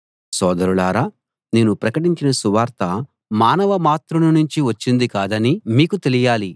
సోదరులారా నేను ప్రకటించిన సువార్త మానవమాత్రుని నుంచి వచ్చింది కాదని మీకు తెలియాలి